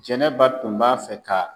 Jɛnɛba tun b'a fɛ ka